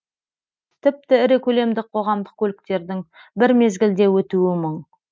тіпті ірі көлемді қоғамдық көліктердің бір мезгілде өтуі мұң